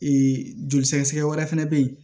joli sɛgɛsɛgɛ wɛrɛ fɛnɛ bɛ yen